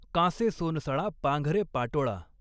कांसॆ सॊनसळा पांघरॆ पाटॊळा.